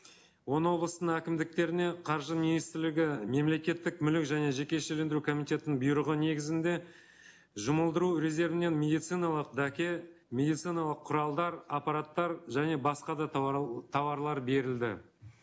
он облыстың әкімдіктеріне қаржы министрлігі мемлекеттік мүлік және жекешелендіру комитетінің бұйрығы негізінде жұмылдыру резервінен медициналық дәке медициналық құралдар аппараттар және басқа да туарлар берілді